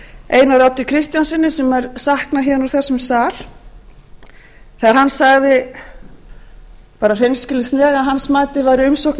einari oddi kristjánssyni sem ég sakna héðan úr þessum sal þegar hann sagði bara hreinskilnislega að hans mati væri umsókn